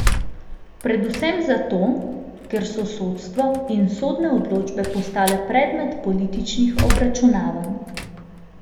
Predvsem zato, ker so sodstvo in sodne odločbe postale predmet političnih obračunavanj.